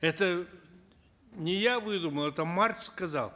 это не я выдумал это маркс сказал